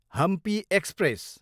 Hampi express